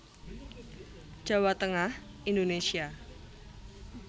Jawa Tengah Indonésia